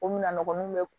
O mina nɔgɔn n'o bɛ